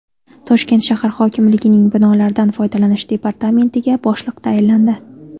Toshkent shahar hokimligining binolardan foydalanish departamentiga boshliq tayinlandi.